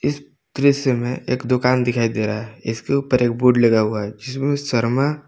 दृश्य में एक दुकान दिखाई दे रहा है इसके ऊपर एक बोर्ड लगा हुआ है जिसमें शर्मा--